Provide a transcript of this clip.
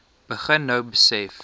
begin nou besef